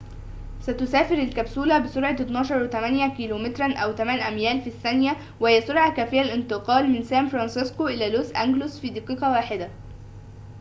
ستسافر الكبسولة بسرعة 12.8 كيلومترًا أو 8 أميال في الثانية وهي سرعة كافية للانتقال من سان فرانسيسكو إلى لوس أنجلوس في دقيقة واحدة